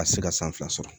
A tɛ se ka san fila sɔrɔ